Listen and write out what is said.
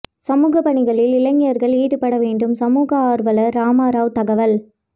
சமூக பணிகளில் இளைஞர்கள் ஈடுபட வேண்டும் சமூக ஆர்வலர் ராமாராவ் தகவல்